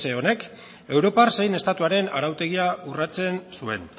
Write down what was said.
honek europar zein estatuaren arautegia urratsen zuen